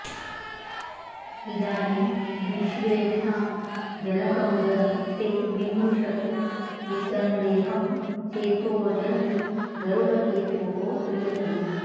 इदानीं विश्वेषां जनकमुदरं ते विमृशतो विसन्देहं चेतोऽजनि गरुडकेतोः प्रियतमे